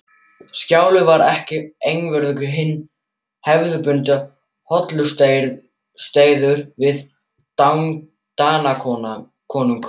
Skjalið var ekki einvörðungu hinn hefðbundni hollustueiður við Danakonung.